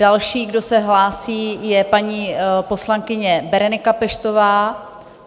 Další, kdo se hlásí, je paní poslankyně Berenika Peštová.